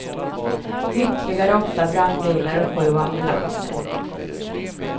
Ytterligare åtta brandbilar och sju ambulanser.